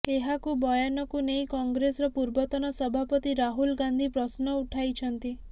ଏହାକୁ ବୟାନକୁ ନେଇ କଂଗ୍ରେସର ପୂର୍ବତନ ସଭାପତି ରାହୁଲ ଗାନ୍ଧୀ ପ୍ରଶ୍ନ ଉଠାଇଛନ୍ତି